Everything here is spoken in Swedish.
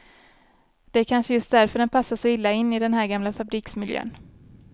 Det är kanske just därför den passar så illa in i den här gamla fabriksmiljön.